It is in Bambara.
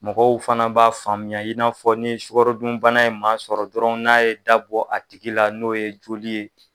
Mɔgɔw fana b'a faamuya i n'afɔ ni sukarodunbana ye maa sɔrɔ dɔrɔn n'a ye dabɔ a tigi la n'o ye joli ye